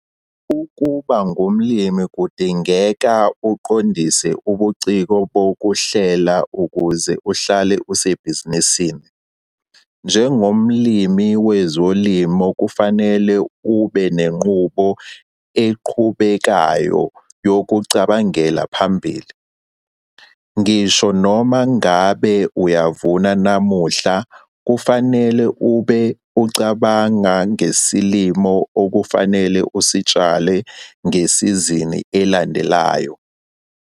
Ukuba ngumlimi kudingeka uqondise ubuciko bokuhlela ukuze uhlale usebhizinisini! Njengomlimi wezilimo kufanele ube nenqubo eqhubekayo yokucabangela phambili. Ngisho noma ngabe uyavuna namuhla kufanele ube ucabanga ngesilimo okufanele usitshale ngesizini elandelayo.